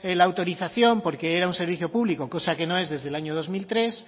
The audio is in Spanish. la autorización porque era un servicio público osa que no es desde año dos mil tres